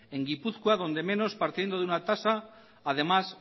en gipuzkoa donde menos partiendo de una tasa además